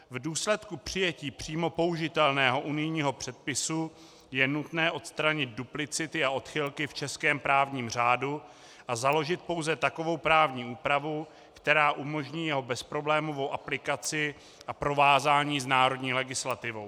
V důsledku přijetí přímo použitelného unijního předpisu je nutné odstranit duplicity a odchylky v českém právním řádu a založit pouze takovou právní úpravu, která umožní jeho bezproblémovou aplikaci a provázání s národní legislativou.